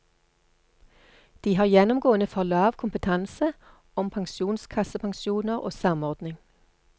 De har gjennomgående for lav kompetanse om pensjonskassepensjoner og samordning.